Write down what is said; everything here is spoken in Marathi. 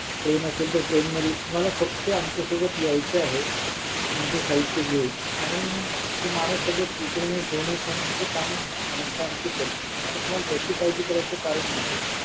train असेल तर train मध्ये मला फक्त आमच्या सोबत यायचं आहे तुमचं साहित्य घेऊन आणि तो माणूस सगळं उचलणे ठेवणे ते काम आमची माणसं करतील त्यामुळे तुम्हाला त्याची काळजी करायची कारण नाही